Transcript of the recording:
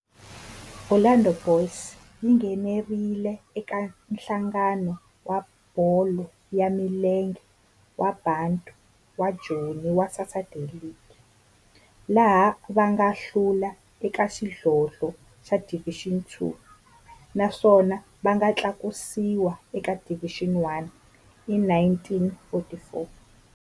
Orlando Boys yi nghenelerile eka Nhlangano wa Bolo ya Milenge wa Bantu wa Joni wa Saturday League, laha va nga hlula eka xidlodlo xa Division Two naswona va nga tlakusiwa eka Division One hi 1944.